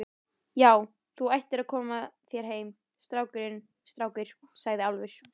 Já, þú ættir að koma þér heim, strákur, sagði Álfur.